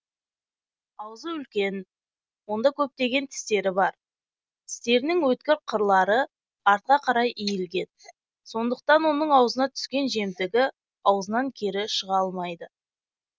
аузы үлкен онда көптеген тістері бар тістерінің өткір қырлары артқа қарай иілген сондықтан оның аузына түскен жемтігі аузынан кері шыға алмайды